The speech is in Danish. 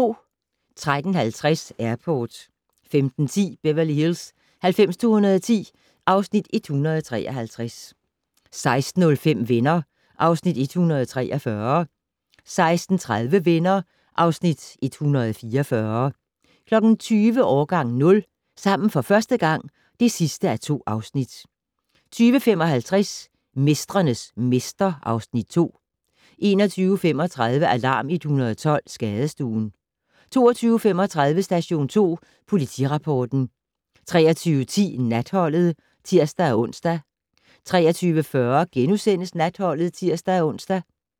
13:50: Airport 15:10: Beverly Hills 90210 (Afs. 153) 16:05: Venner (Afs. 143) 16:30: Venner (Afs. 144) 20:00: Årgang 0 - sammen for første gang (2:2) 20:55: Mestrenes mester (Afs. 2) 21:35: Alarm 112 - Skadestuen 22:35: Station 2 Politirapporten 23:10: Natholdet (tir-ons) 23:40: Natholdet *(tir-ons)